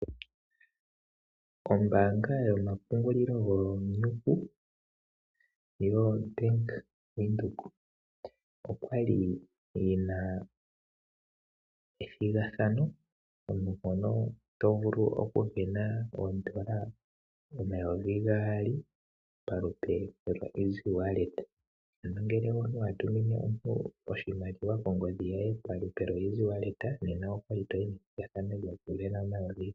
Ombaanga yomapungulilo giinyuku yoBank Windhoek, oya li yi na ethigathano moka omuntu ta vulu okusindana oodola omayovi gaali pamukalo gokutuma oshimaliwa kongodhi. Uuna omuntu a tuminwe gulwe oshimaliwa kongodhi okwa li ta mono ompito ya methigathano lyokusinda N$ 2000.